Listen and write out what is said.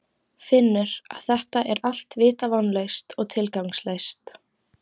Finnur að þetta er allt vita vonlaust og tilgangslaust.